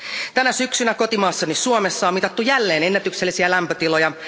Tänä syksynä kotimaassani Suomessa on mitattu jälleen ennätyksellisiä lämpötiloja.